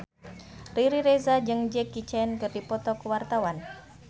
Riri Reza jeung Jackie Chan keur dipoto ku wartawan